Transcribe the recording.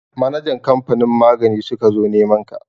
Manajan kamfanin magani suka zo neman ka.